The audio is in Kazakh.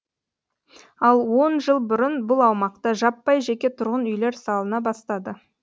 ал он жыл бұрын бұл аумақта жаппай жеке тұрғын үйлер салына бастады